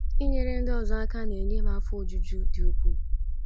Inyere ndị ọzọ aka na - enye m afọ ojuju dị ukwuu.